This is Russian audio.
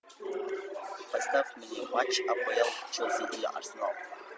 поставь мне матч апл челси и арсенал